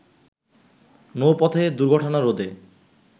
নৌপথে দুর্ঘটনা রোধে